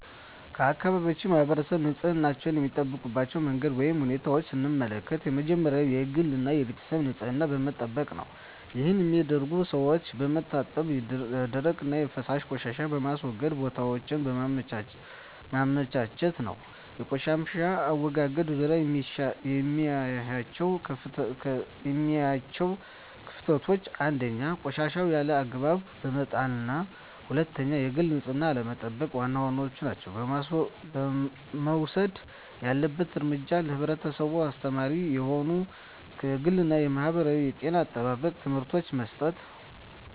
የአካባቢያችን ማህበረሰብ ንፅህናቸዉን የሚጠብቁበት መንገድ ወይም ሁኔታን ስንመለከት የመጀመሪያዉ የግል እና የቤተሰባቸዉን ንፅህና በመጠበቅ ነዉ ይህንንም የሚያደርጉት ሰዉነታቸዉን በመታጠብ የደረቅና የፈሳሽ ቆሻሻ ማስወገጃ ቦታወችን በማመቻቸት ነዉ። በቆሻሻ አወጋገድ ዙሪያ የማያቸዉ ክፍተቶች፦ 1. ቆሻሻወችን ያለ አግባብ በመጣልና 2. የግል ንፅህናን አለመጠቅ ዋና ዋናወቹ ናቸዉ። መወሰድ ያለበት እርምጃ ለህብረተሰቡ አስተማሪ የሆኑ የግልና የማህበረሰብ የጤና አጠባበቅ ትምህርቶችን መስጠት።